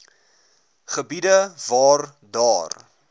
gebiede waar daar